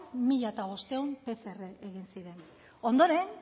mila bostehun pcr egin ziren ondoren